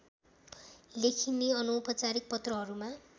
लेखिने अनौपचारिक पत्रहरूमा